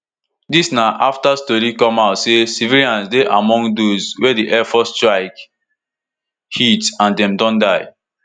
dis na afta tori come out say civilians dey among dose wey di air force strike hit and dem don die